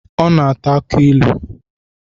Ọ na ata aki ilu